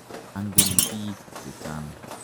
Angen piik che chang'.